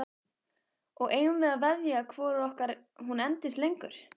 Og eigum við að veðja hvoru okkar hún endist lengur?